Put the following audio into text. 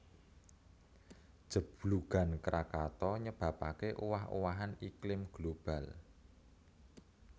Jeblugan Krakatau nyebabaké owah owahan iklim global